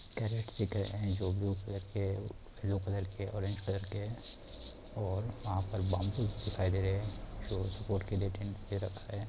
Crate दिख रहे है जो ब्लू कलर के येलो कलर के ऑरेंज कलर के है। और वहाँ पर बाम्बू दिखाई दे रहे है जो सपोर्ट के लिए टेंट के नीचे रखा है।